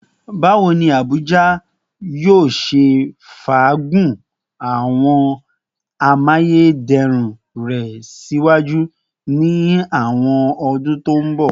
Bawo ni Abuja yoo ṣe faagun awọn amayederun rẹ siwaju ni awọn ọdun ti n bọ?